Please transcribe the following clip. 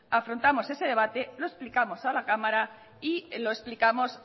afrontamos ese debate lo explicamos en la cámara y lo explicamos